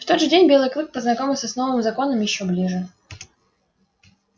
в тот же день белый клык познакомился с новым законом ещё ближе